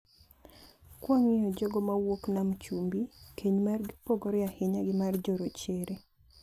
Kawang`iyo jogo mawuok nam chumbi, keny margi opogore ahinya gi mar jo rochere.